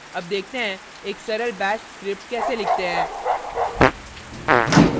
अब देखते हैं एक सरल bash script कैसे लिखते हैं